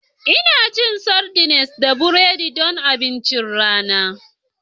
Ina cin sardines da burodi don abincin rana